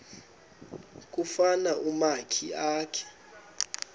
kufuna umakhi akhe